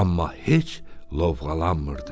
amma heç lovğalanmırdı.